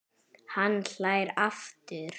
Hann hlær aftur.